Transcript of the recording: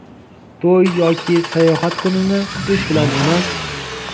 to‘y yoki sayohat kunini kutish bilan emas.